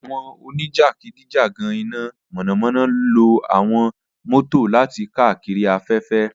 Awọn onijakidijagan ina mọnamọna lo awọn mọto lati kaakiri afẹfẹ.